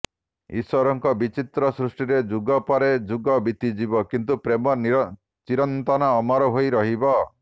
ଇଶ୍ୱରଙ୍କ ବିଚିତ୍ର ସୃଷ୍ଟିରେ ଯୁଗ ପରେ ଯୁଗ ବିତିଯିବ କିନ୍ତୁ ପ୍ରେମ ଚିରନ୍ତନ ଅମର ହୋଇ ରହିବ